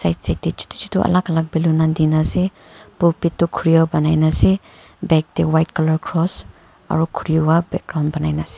akjat te chotu chotu alag alag balloon Dina ase por pit tu khule kine ase bag te white colour cross aru khori para background boani kina ase.